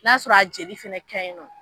N y'a sɔrɔ a bi jeli fɛnɛ kɛ in nɔ